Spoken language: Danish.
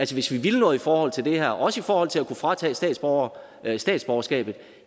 hvis vi ville noget i forhold til det her og også i forhold til at kunne fratage statsborgere statsborgerskabet